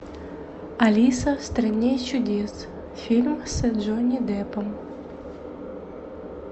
алиса в стране чудес фильм с джонни деппом